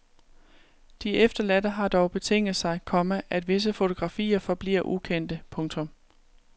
De efterladte har dog betinget sig, komma at visse fotografier forbliver ukendte. punktum